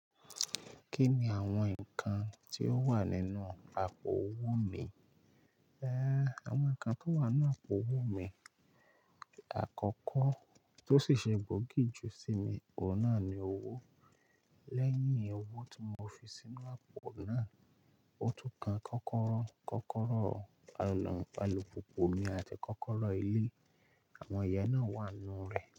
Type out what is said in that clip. Kí ni àwọn nǹkan tí ó wà nínú àpò owó mi? Ẹ̀, àwọn nǹkan tó wà ní àpò owó mi, àkọ́kọ́ tó sì ṣe gbòógì ju sí mi, òun náà ni owó. Lẹ́yìn owó tí mo fi sínú àpò náà, òtún kan kọ́kọ́rọ́, kọ́kọ́rọ́ ọ̀nà àlùpùpù mi àti kọ́kọ́rọ́ ilé. Àwọn ẹ̀yà náà wà nínú rẹ̀